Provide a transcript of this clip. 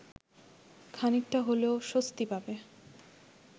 খানিকটা হলেও স্বস্তি পাবে